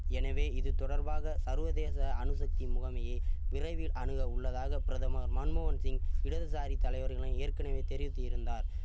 எனவே இது தொடர்பாக சர்வதேச அணுசக்தி முகமையே விரைவில் அணுக உள்ளதாக பிரதமர் மன்மோகன் சிங் இடதுசாரி தலைவர்கள் ஏற்கனவே தெரிவித்து இருந்தார்